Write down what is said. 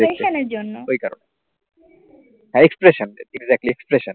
হ্যাঁ expression exactly expression